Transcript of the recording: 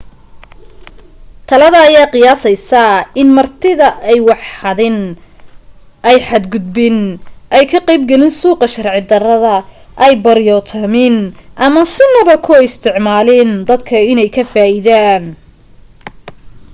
talada ayaa qiyaasaysa in martida ay wax xadin ay xad gudbin ay ka qayb galin suuqa sharci darrada ay baryootamin ama sinaba ku isticmaalin dadka inay ka faa'idaan